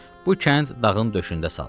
Bu kənd dağın döşündə salınıb.